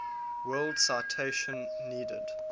world citation needed